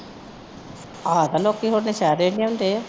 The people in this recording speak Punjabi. ਆਪ ਲੋਕੀ ਉਥੇ ਸਾਰੇ ਹੀ ਲਿਆਉਂਦੇ ਆ